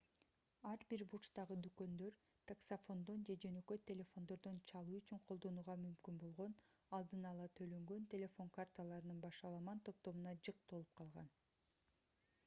ар бир бурчтагы дүкөндөр таксафондон же жөнөкөй телефондордон чалуу үчүн колдонууга мүмкүн болгон алдын-ала төлөнгөн телефон карталарынын башаламан топтомуна жык толуп калган